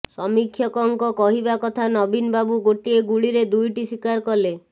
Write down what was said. ସମୀକ୍ଷକଙ୍କ କହିବା କଥା ନବୀନବାବୁ ଗୋଟିଏ ଗୁଳିରେ ଦୁଇଟି ଶିକାର କଲେ